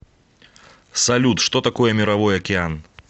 салют что такое мировой океан